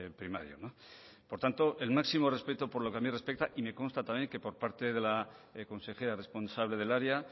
primario por tanto el máximo respeto por lo que a mí respecta y me consta también que por parte de la consejera responsable del área